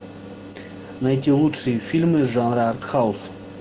найти лучшие фильмы жанра артхаус